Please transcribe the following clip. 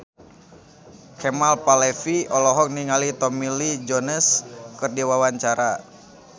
Kemal Palevi olohok ningali Tommy Lee Jones keur diwawancara